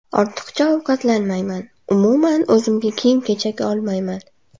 Ortiqcha ovqatlanmayman, umuman, o‘zimga kiyim-kechak olmayman.